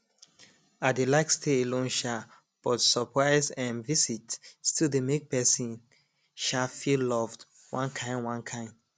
i dey like stay alone um but surprise um visits still dey make pesin um feel loved one kain one kain